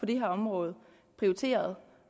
det her område prioriterer